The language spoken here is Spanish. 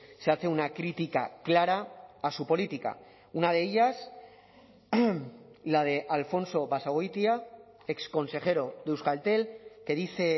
se hace una crítica clara a su política una de ellas la de alfonso basagoitia exconsejero de euskaltel que dice